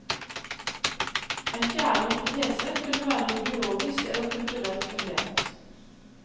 En fjerde hypotese kunne være ideologisk eller kulturelt fundert.